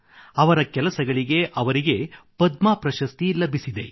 ಻ಅವರ ಕೆಲಸಗಳಿಗೆ ಅವರಿಗೆ ಪದ್ಮ ಪ್ರಶಸ್ತಿ ಲಭಿಸಿದೆ